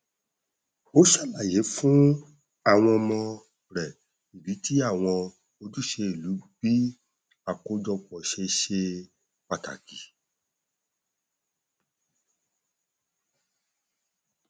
ó ṣàlàyé fún àwọn ọmọ rẹ ìdí tí àwọn ojúṣe ìlú bí i àkójọpọ ṣe ṣe pàtàkì